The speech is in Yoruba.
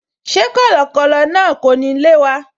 Ṣé kọ̀lọ̀kọ̀lọ̀ náà kò ní lé wa?